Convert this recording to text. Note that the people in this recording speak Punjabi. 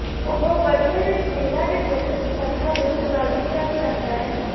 ਉਹ ਬਦਲੇ ਵਿੱਚ ਮਹਿਲਾ ਦੀ ਜਣਨ ਸਮਰੱਥਾ ਨੂੰ ਪ੍ਰਭਾਵਿਤ ਕਰ ਸਕਦਾ ਹੈ